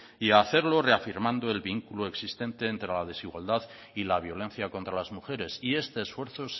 y hacerlo reafirmando el vínculo existente entre la desigualdad y la violencia contra las mujeres y este esfuerzo